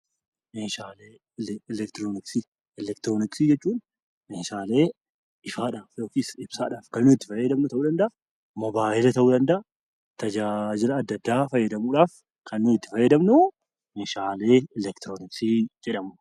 Meeshaalee eleektirooniksii Meeshaalee eleektirooniksii jechuun Meeshaalee ifaadhaan yookaan ibsaadhaan itti fayyadamnu ta'uu danda'a moobaayilii ta'uu danda'a, tajaajila addaa addaa fayyadamuudhaaf kan nuti itti fayyadamnu Meeshaalee eleektirooniksii jedhamu.